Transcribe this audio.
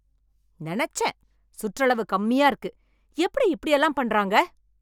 நெனச்சேன்! சுற்றளவு கம்மியா இருக்கு. எப்படி இப்படியெல்லாம் பன்றாங்க